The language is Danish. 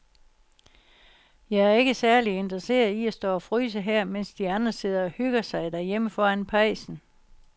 Jeg er ikke særlig interesseret i at stå og fryse her, mens de andre sidder og hygger sig derhjemme foran pejsen.